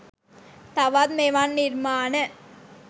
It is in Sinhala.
තවත් මෙවන් නිර්මාණ